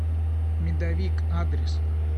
медовик адрес